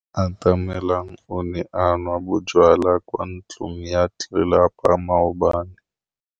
Atamelang o ne a nwa bojwala kwa ntlong ya tlelapa maobane.